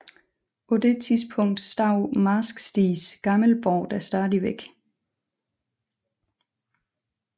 På det tidspunkt stod Marsk Stigs gamle borg der stadigvæk